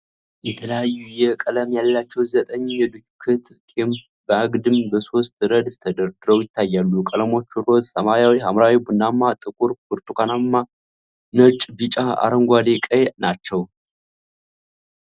የተለያየ ቀለም ያላቸው ዘጠኝ የዱክት ቴፖች በአግድም በሶስት ረድፍ ተደርድረው ይታያሉ። ቀለሞቹ ሮዝ፣ ሰማያዊ፣ ሐምራዊ፣ ቡናማ፣ ጥቁር፣ ብርቱካናማ፣ ነጭ፣ ቢጫ፣ አረንጓዴና ቀይ ናቸው።